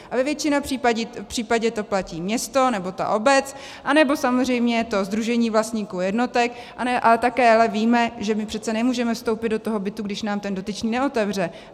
A ve většině případů to platí město nebo ta obec, anebo samozřejmě to sdružení vlastníků jednotek, ale také ale víme, že my přece nemůžeme vstoupit do toho bytu, když nám ten dotyčný neotevře.